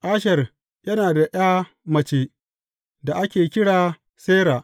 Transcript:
Asher yana da ’ya mace da ake kira Sera.